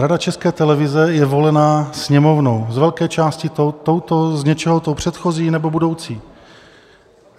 Rada České televize je volená Sněmovnou, z velké části touto, z něčeho tou předchozí nebo budoucí.